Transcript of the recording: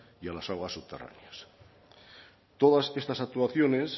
y a las aguas subterráneas todas estas actuaciones